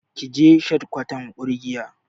Ki je shadikwatar ƙungiyar.